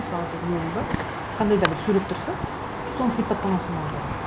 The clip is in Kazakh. мысалы сіз гуглда қандай да бір сурет тұрса соның сипаттамасын аудару